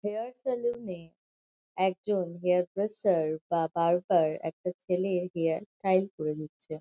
Hair salon -এ একজন hairdresser বা বারবর একটা ছেলে হেয়ার স্টাইল করে নিচ্ছে।